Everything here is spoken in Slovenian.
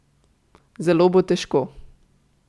Zelo bo težko.